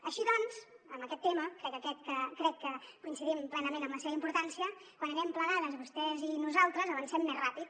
així doncs en aquest tema crec que coincidim plenament en la seva importància quan anem plegades vostès i nosaltres avancem més ràpid